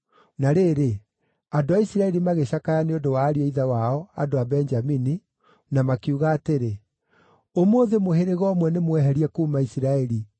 Na rĩrĩ, andũ a Isiraeli magĩcakaya nĩ ũndũ wa ariũ a ithe wao, andũ a Benjamini, na makiuga atĩrĩ, “Ũmũthĩ mũhĩrĩga ũmwe nĩmweherie kuuma Isiraeli.